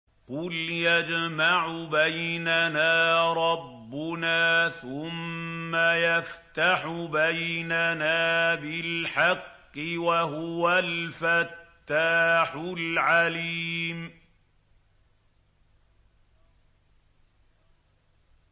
قُلْ يَجْمَعُ بَيْنَنَا رَبُّنَا ثُمَّ يَفْتَحُ بَيْنَنَا بِالْحَقِّ وَهُوَ الْفَتَّاحُ الْعَلِيمُ